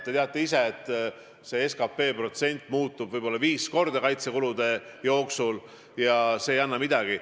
Te teate ise, et see protsent SKP-st muutub kaitsekulude eelarveperioodi jooksul võib-olla viis korda ja see näitaja ei anna midagi.